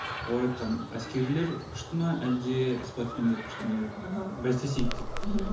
олар айтқан әскерилер күшті ме әлде спортсмендер күшті ме деп аха бәстесейік деп мхм